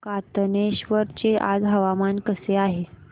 कातनेश्वर चे आज हवामान कसे आहे